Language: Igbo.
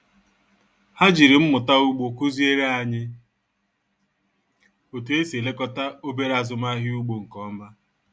Ha jiri mmụta ugbo kụziere anyị otú e si elekọta obere azụmahịa ugbo nke ọma